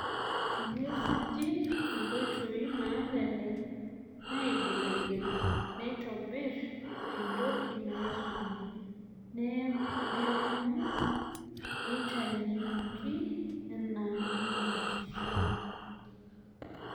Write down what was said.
Tenwsuji enkoitoi nalelek naigiligil, neitobir entoki naisul, neagu eitayuoki ena matishio.